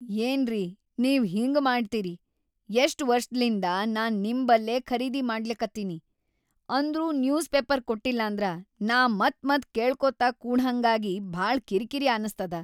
ಏನ್ರೀ ನೀವ ಹಿಂಗ ಮಾಡ್ತಿರಿ, ಎಷ್ಟ ವರ್ಷದ್ಲಿಂದ ನಾ ನಿಮ್‌ ಬಲ್ಲೇ ಖರೀದಿ ಮಾಡ್ಲಿಕತ್ತೀನಿ, ಅಂದ್ರೂ ನ್ಯೂಸ್‌ ಪೇಪರ್‌ ಕೊಟ್ಟಿಲ್ಲಾಂದ್ರ ನಾ ಮತ್‌ ಮತ್ ಕೇಳ್ಕೋತ ಕೂಡಹಂಗಾಗಿ ಭಾಳ ಕಿರಿಕಿರಿ ಅನಸ್ತದ.